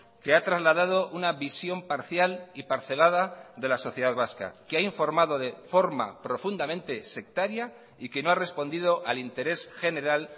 que ha trasladado una visión parcial y parcelada de la sociedad vasca que ha informado de forma profundamente sectaria y que no ha respondido al interés general